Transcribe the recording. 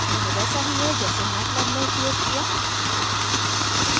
यह वैसा ही है जैसे मैटलैब में उपयोग किया